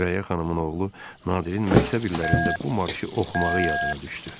Sürəyyə xanımın oğlu Nadirin məktəb illərində bu marşı oxumağı yadına düşdü.